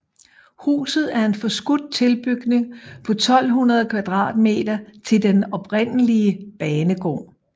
Huset er en forskudt tilbygning på 1200 m² til den oprindelige banegård